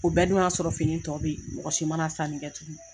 O bɛɛ dun y'a sɔrɔ fini tɔ be ye mɔgɔ si mana sani kɛ tugun.